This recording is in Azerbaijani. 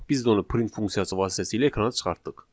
Biz də onu print funksiyası vasitəsilə ekrana çıxartdıq.